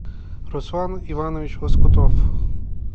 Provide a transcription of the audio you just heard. руслан иванович лоскутов